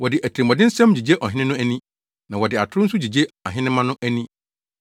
“Wɔde atirimɔdensɛm gyigye ɔhene no ani, na wɔde atoro nso gyigye ahenemma no ani.